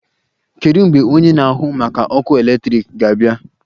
Kedu mgbe onye na-ahụ maka ọkụ eletrik ga-abịa?